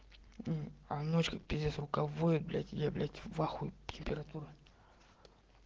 м а ночь как пиздец рука воет я блять в ахуе температура